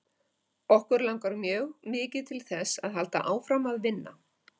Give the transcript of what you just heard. Okkur langar mjög mikið til þess að halda áfram að vinna.